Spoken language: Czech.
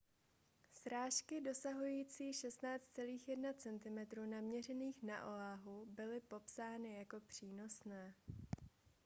srážky dosahující 16,1 cm naměřených na oahu byly popsány jako přínosné